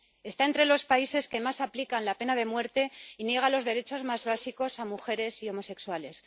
Está entre los países que más aplican la pena de muerte y niega los derechos más básicos a mujeres y homosexuales.